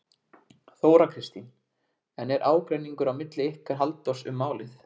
Þóra Kristín: En er ágreiningur á milli ykkar Halldórs um málið?